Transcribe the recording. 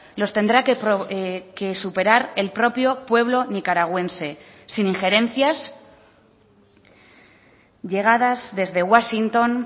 los tendrá que superar el propio pueblo nicaragüense sin injerencias llegadas desde washington